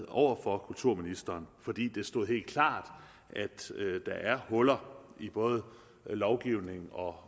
over for kulturministeren fordi det stod helt klart at der er huller i både lovgivning og